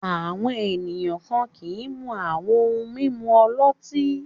Àwọn ènìyàn kan kì í mu àwọn ohun-mímu ọlọ́tí.